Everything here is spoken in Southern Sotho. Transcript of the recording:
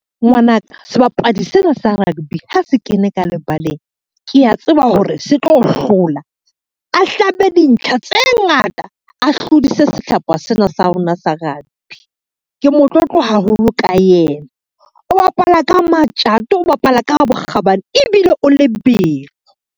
Ngwana ka sebapadi sena sa rugby ha se kene ka lebaleng, kea tseba hore se tlo hlola. A hlabe dintlha tse ngata, a hlodise sehlopha sena sa rona sa rugby. Ke motlotlo haholo ka yena, o bapala ka matjato, o bapala ka bokgabane ebile o lebelo.